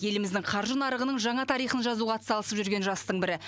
еліміздің қаржы нарығының жаңа тарихын жазуға атсалысып жүрген жастың бірі